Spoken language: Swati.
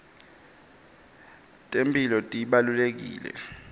temphilo tibalulekile